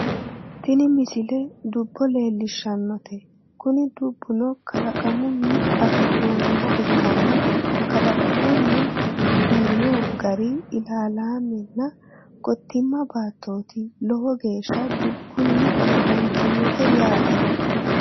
tini misile dubbo leellishshannote kuni dubbuno kalaqamunni afi'noonniha ikkanna kalqauno uyiino gari ilaalaalmenna gottiima baattooti lowo geeshsha dubbunni amadantinote yaate